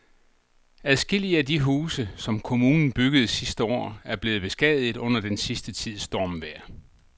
Adskillige af de huse, som kommunen byggede sidste år, er blevet beskadiget under den sidste tids stormvejr.